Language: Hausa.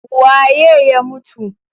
Waye ya mutu?